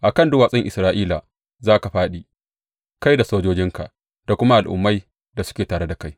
A kan duwatsun Isra’ila za ka fāɗi, kai da sojojinka da kuma al’ummai da suke tare da kai.